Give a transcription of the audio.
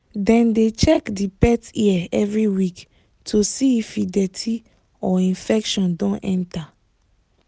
dem dey check the pet ear every week to see if e dirty or infection don enter